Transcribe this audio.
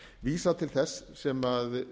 vísa til þess sem